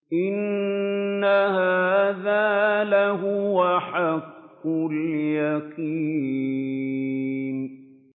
إِنَّ هَٰذَا لَهُوَ حَقُّ الْيَقِينِ